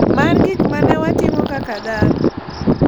mar gik ma ne watimo kaka dhano.